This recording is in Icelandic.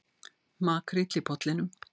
Makríll í Pollinum